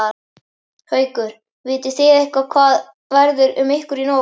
Haukur: Vitið þið eitthvað hvað verður um ykkur í nótt?